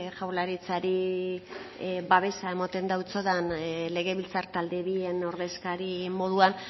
jaurlaritzari babesa emoten dautsodan legebiltzar talde bien ordezkari moduan